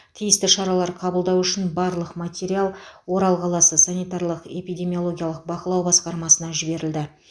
тиісті шаралар қабылдау үшін барлық материал орал қаласы санитарлық эпидемиологиялық бақылау басқармасына жіберілді